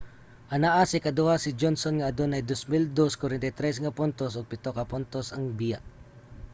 anaa sa ikaduha si johnson nga adunay 2,243 nga puntos ug pito ka puntos ang biya